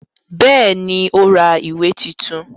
Bẹ́ẹ̀ ni, ó ra ìwé tuntun.